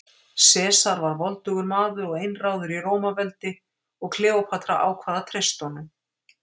Sesar var voldugur maður og einráður í Rómaveldi og Kleópatra ákvað að treysta honum.